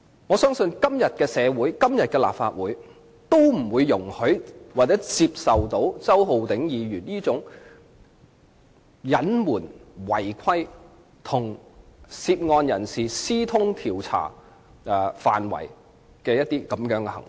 我相信今天的社會和立法會都不會容許或接受周浩鼎議員這種隱瞞、違規，以及與涉案人士私通調查範圍的行為。